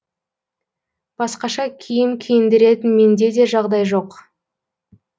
басқаша киім киіндіретін менде де жағдай жоқ